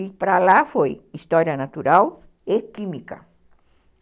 E para lá foi História Natural e Química.